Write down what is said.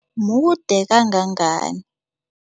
Mude kangangani?